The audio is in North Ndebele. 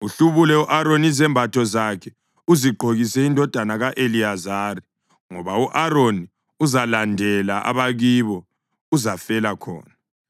Uhlubule u-Aroni izembatho zakhe uzigqokise indodana yakhe u-Eliyazari, ngoba u-Aroni uzalandela abakibo; uzafela khona.”